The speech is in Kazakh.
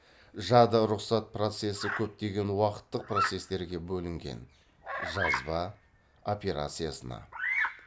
жады рұқсат процессі көптеген уақыттық процестерге бөлінген жазба операциясына